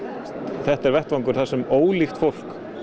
þetta er vettvangur þar sem ólíkt fólk